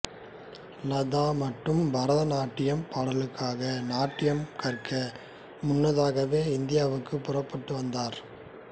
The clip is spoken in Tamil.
லதா மட்டும் பரதநாட்டியப் பாடல்களுக்கான நாட்டியம் கற்க முன்னதாகவே இந்தியாவுக்கு புறப்பட்டு வந்தார்